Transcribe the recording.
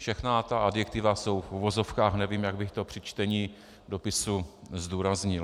Všechna ta adjektiva jsou v uvozovkách, nevím, jak bych to při čtení dopisu zdůraznil.